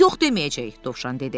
Yox deməyəcək, Dovşan dedi.